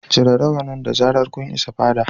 Cire rawanin da zarar kun isa fada